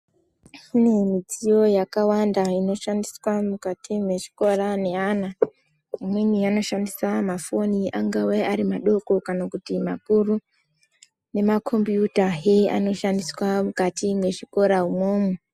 Kune midziyo yakawanda inoshandiswa mukati mwezvikora neana. Amweni anoshandise mafoni angave madoko kana kuti makuru, nemakombiyutahe anoshandiswa mukati mwezvikora umwomwo.